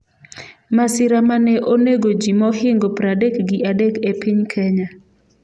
Masira mane onego ji mohingo pradek gi adek e piny Kenya